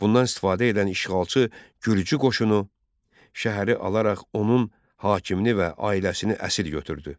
Bundan istifadə edən işğalçı gürcü qoşunu şəhəri alaraq onun hakimini və ailəsini əsir götürdü.